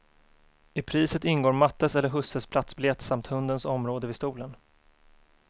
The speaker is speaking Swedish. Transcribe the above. I priset ingår mattes eller husses platsbiljett samt hundens område vid stolen.